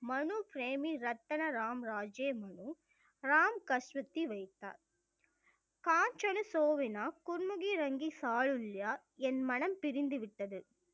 மனுபெர்மி ரத்ன ராம்ராஜே மனு ரேம் கஸ்சவதி வைத்தார் காய்ச்சலு சோவினா குன்முகி ரங்கி சாருல்யா என் மனம் பிரிந்து விட்டது